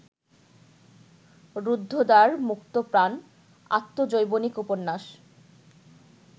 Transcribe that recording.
রুদ্ধদ্বার মুক্তপ্রাণ আত্মজৈবনিক উপন্যাস